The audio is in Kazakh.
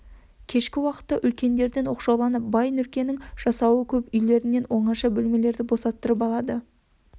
кешкі уақыттарда үлкендерден оқшауланып бай нұркенің жасауы көп үйлерінен оңаша бөлмелерді босаттырып алады